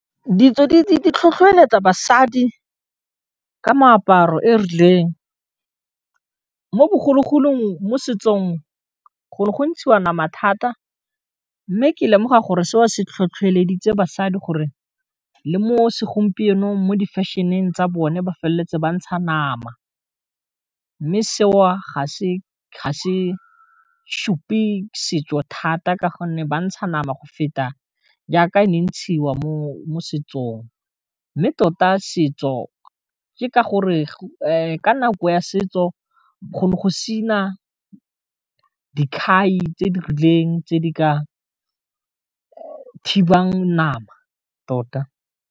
Ditso di tlhotlhoeletsa basadi ka meaparo e rileng mo bogologolong mo setsong go go ntshiwa nama thata mme ke lemoga gore se o se tlhotlheleditse basadi gore le mo segompienong mo di fashion-ing tsa bone ba feleletse ba ntsha nama, mme seo ga se supe setso thata ka gonne ba ntsha nama go feta jaaka e ne e ntshiwa mo setsong, mme tota setso ke ka gore ka nako ya setso go ne go se na dikhai tse di rileng tse di ka thibang nama tota.